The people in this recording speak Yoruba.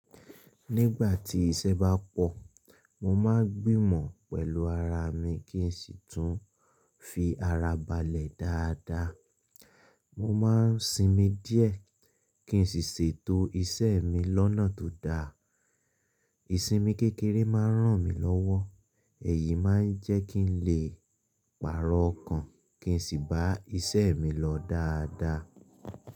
Nígbà tí iṣẹ́ bá pọ̀, mo máa ń gbìmọ̀ pẹ̀lú ara mi kí n sì tún fi ara balẹ̀ dáadáa. Mo máa ń sinmi díẹ̀ kí n sì ṣètò iṣẹ́ mi lọ́nà tó dáa. Ìsinmi kékeré máa ń ràn mí lọ́wọ́, èyí máa ń jẹ́ kí n lè pàrọ̀ ọkàn kí n sì bá iṣẹ́ mi lọ dáadáa.